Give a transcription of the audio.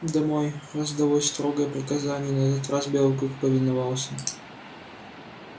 домой раздалось строгое приказание и на этот раз белый клык повиновался